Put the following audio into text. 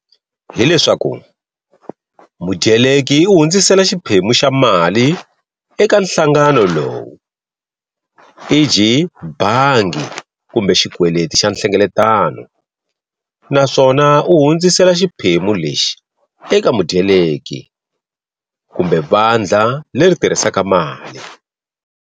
Hi leswaku, mudyeleki u hundzisela xiphemu xa mali eka nhlangano lowu, e.g. bangi kumbe xikweleti xa nhlengeletano, naswona u hundzisela xiphemu lexi eka mudyeleki kumbe vandla leri tirhisaka mali.